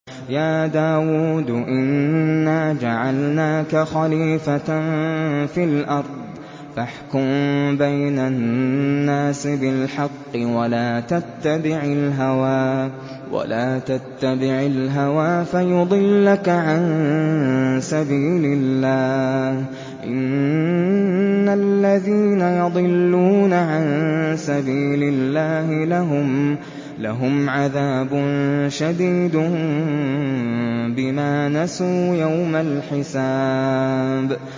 يَا دَاوُودُ إِنَّا جَعَلْنَاكَ خَلِيفَةً فِي الْأَرْضِ فَاحْكُم بَيْنَ النَّاسِ بِالْحَقِّ وَلَا تَتَّبِعِ الْهَوَىٰ فَيُضِلَّكَ عَن سَبِيلِ اللَّهِ ۚ إِنَّ الَّذِينَ يَضِلُّونَ عَن سَبِيلِ اللَّهِ لَهُمْ عَذَابٌ شَدِيدٌ بِمَا نَسُوا يَوْمَ الْحِسَابِ